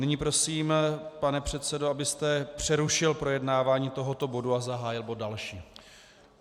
Nyní prosím, pane předsedo, abyste přerušil projednávání tohoto bodu a zahájil bod další.